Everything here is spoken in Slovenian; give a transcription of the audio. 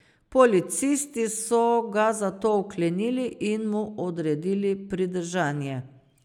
Policisti so ga zato vklenili in mu odredili pridržanje.